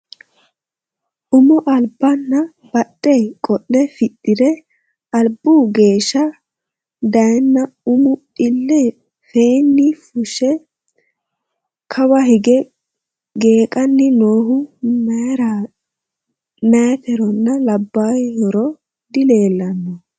Ummo alibba nna badhe qole fixxire alibbu geesha dayiinna ummu , ille feenni fushe kawa hiige geeqqanni noohu mayitteronna labayiihoro dileellanno